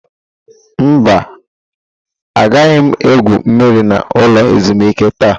Mba, agaghị m egwu mmiri na ulo ezimuike taa.